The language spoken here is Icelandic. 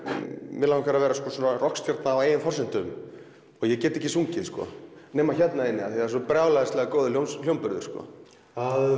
mig langar að vera rokkstjarna á eigin forsendum ég get ekki sungið nema hérna inni því það er svo brjálæðislega góður hljómburður að